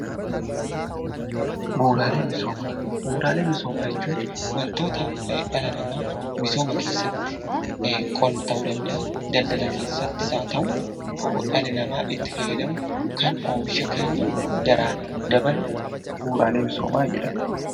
Bu'uuraalee misoomaa Bu'uuraalee misoomaa jechuun waantota dhala namaaf misooma keessatti, daldala keessattis haa ta'uu, dhalli namaa itti fayyadamu, jireenya keessatti daraan dabalu bu'uuraalee misoomaa jedhama.